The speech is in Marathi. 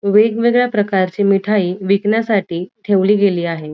वेगवेगळ्या प्रकारची मिठाई विकण्यासाठी ठेवली गेली आहे.